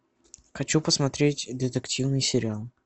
хочу посмотреть детективный сериал